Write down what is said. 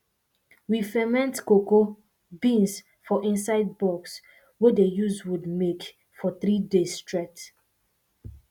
we ferment cocoa beans for inside box wey dey use wood make for three days straight